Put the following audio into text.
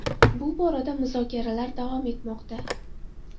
Bu borada muzokaralar davom etmoqda.